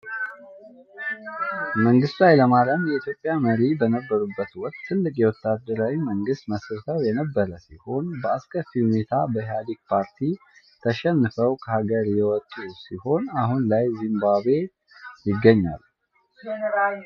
መንግስቱ ኃይለማርያም የ ኢትዮጵያ መሪ በነበሩበት ወቅት ትልቅ የወታደራዊ መንግስት መስርተው የነበር ሲሆን በ አስከፊ ሁኔታ በ ኢሃድግ ፓርቲ ተሸንፈው ከሃግር የወጡ ሲሆን አሁን ላይ ዚምባብዌ ይገኛሉ።